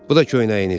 Bu da köynəyiniz.